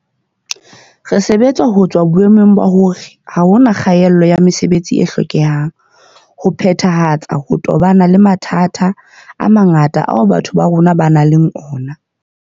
Re sebetsa ho tswa ho boemong ba hore ha hona kgaelo ya mesebetsi e hlokehang ho phethahatsa ho tobana le mathata a mangata ao batho ba rona ba nang le ona.